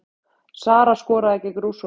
Sara skoraði gegn Rússunum